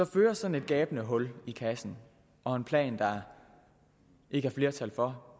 fører sådan et gabende hul i kassen og en plan der ikke er flertal for